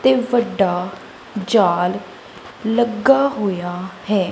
ਤੇ ਵੱਡਾ ਜਾਲ ਲੱਗਾ ਹੋਇਆ ਹੈ।